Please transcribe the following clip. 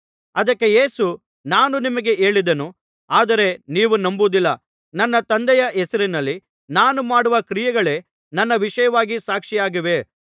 ಅದಕ್ಕೆ ಯೇಸು ನಾನು ನಿಮಗೆ ಹೇಳಿದೆನು ಆದರೆ ನೀವು ನಂಬುವುದಿಲ್ಲ ನನ್ನ ತಂದೆಯ ಹೆಸರಿನಲ್ಲಿ ನಾನು ಮಾಡುವ ಕ್ರಿಯೆಗಳೇ ನನ್ನ ವಿಷಯವಾಗಿ ಸಾಕ್ಷಿಯಾಗಿವೆ